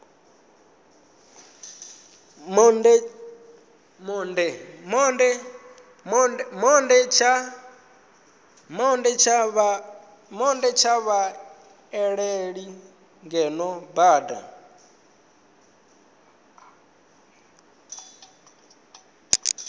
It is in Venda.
monde tsha vhaaleli ngeno bannda